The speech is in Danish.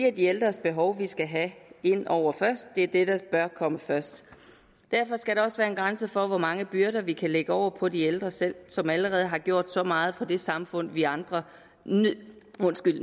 er de ældres behov vi skal have ind over først det er det der bør komme først derfor skal der også være en grænse for hvor mange byrder vi kan lægge over på de ældre selv som allerede har gjort så meget for det samfund vi andre